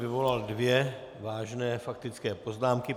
Vyvolal dvě vážné faktické poznámky.